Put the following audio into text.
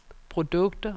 produkter